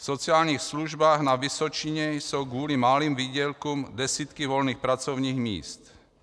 V sociálních službách na Vysočině jsou kvůli malým výdělkům desítky volných pracovních míst.